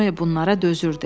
Noe bunlara dözürdü.